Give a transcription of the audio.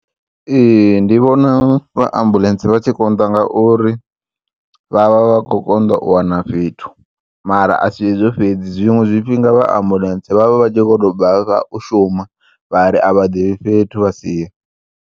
Ee, ndi vhona vha ambulentse vha tshi konḓa ngauri vha vha vha kho u konḓa u wana fhethu mara asi hezwo fhedzi zwiṅwe zwifhinga vha ambulentsi vha vha vha tshi kho to bvafha u shuma vhari a vha ḓivhi fhethu vha siye.